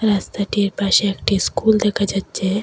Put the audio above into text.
রাস্তাটির পাশে একটি স্কুল দেখা যাচ্ছে।